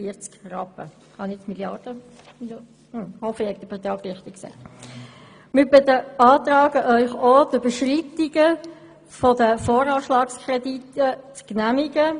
Wir beantragen Ihnen auch, die Überschreitungen der Voranschlagskredite zu genehmigen.